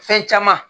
Fɛn caman